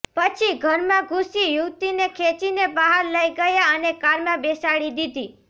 પછી ઘરમાં ઘૂસી યુવતીને ખેંચીને બહાર લઈ ગયા અને કારમાં બેસાડી દીધી